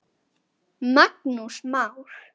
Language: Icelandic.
Magnús Már.